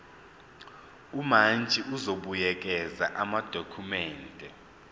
umantshi uzobuyekeza amadokhumende